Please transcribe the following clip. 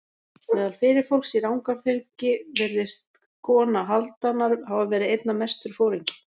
Meðal fyrirfólks í Rangárþingi virðist kona Hálfdanar hafa verið einna mestur foringi.